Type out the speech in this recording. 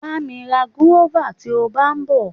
Bá mi ra guava tí o bá ń bọ.